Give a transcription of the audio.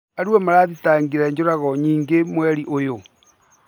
Arua marathitangire njũrago nyingĩ mweri ũyũ